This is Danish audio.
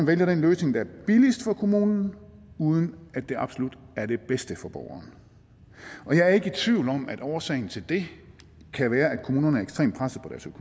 vælger den løsning der er billigst for kommunen uden at det absolut er det bedste for borgeren jeg er ikke i tvivl om at årsagen til det kan være at kommunerne er ekstremt pressede